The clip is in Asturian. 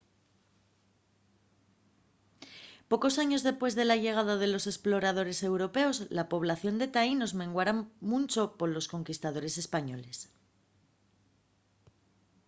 pocos años dempués de la llegada de los esploradores europeos la población de taínos menguara muncho polos conquistadores españoles